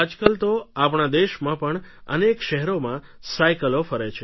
આજકાલ તો આપણા દેશમાં પણ અનેક શહેરોમાં સાઇકલો ફરે છે